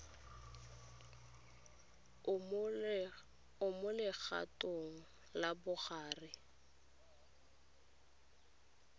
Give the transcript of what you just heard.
o mo legatong la bogareng